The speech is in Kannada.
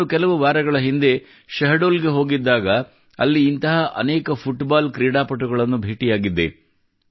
ನಾನು ಕೆಲವು ವಾರಗಳ ಹಿಂದೆ ಶಹಡೋಲ್ ಗೆ ಹೋಗಿದ್ದಾಗ ಅಲ್ಲಿ ಇಂತಹ ಅನೇಕ ಫುಟ್ಬಾಲ್ ಕ್ರೀಡಾಪಟುಗಳನ್ನು ಭೇಟಿಯಾಗಿದ್ದೆ